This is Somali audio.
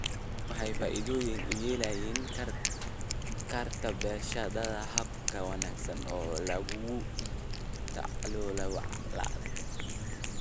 Tani waxay faa'iido u yeelan kartaa barashada habab ka wanaagsan oo lagula tacaalo walaaca.